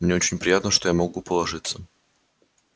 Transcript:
мне очень приятно что я могу положиться